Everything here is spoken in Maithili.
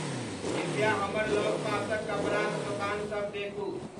कृप्या हमर लगपासक कपड़ाक दोकान सभ देखू